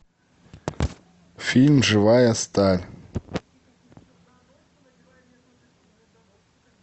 фильм живая сталь